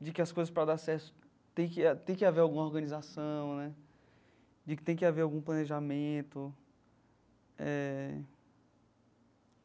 de que as coisas, para dar certo, tem que a tem que haver alguma organização né, de que tem que haver algum planejamento eh.